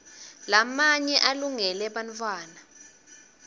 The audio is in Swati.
lamanye alungele bantfwana